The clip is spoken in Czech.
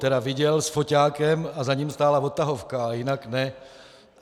Tedy viděl s foťákem a za ním stála odtahovka, ale jinak ne.